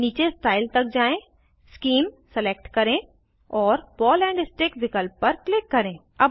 नीचे स्टाइल तक जाएँ शीम सिलेक्ट करें और बॉल एंड स्टिक विकल्प पर क्लिक करें